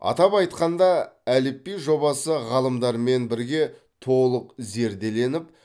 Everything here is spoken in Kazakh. атап айтқанда әліпби жобасы ғалымдармен бірге толық зерделеніп